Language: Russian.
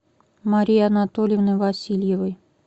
марии анатольевны васильевой